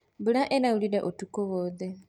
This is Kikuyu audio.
Mbura ĩraurire ũtukũ wothe.